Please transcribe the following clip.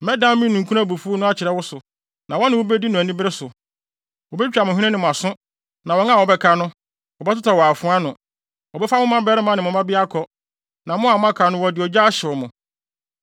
Mɛdan me ninkunu abufuw no akyerɛ wo so, na wɔne wo bedi no anibere so. Wobetwitwa mo hwene ne mo aso, na wɔn a wɔbɛka no, wɔbɛtotɔ wɔ afoa ano. Wɔbɛfa mo mmabarima ne mo mmabea akɔ, na mo a moaka no wɔde ogya ahyew mo.